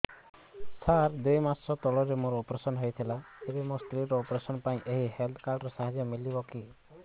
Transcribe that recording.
ସାର ଦୁଇ ମାସ ତଳରେ ମୋର ଅପେରସନ ହୈ ଥିଲା ଏବେ ମୋ ସ୍ତ୍ରୀ ର ଅପେରସନ ପାଇଁ ଏହି ହେଲ୍ଥ କାର୍ଡ ର ସାହାଯ୍ୟ ମିଳିବ କି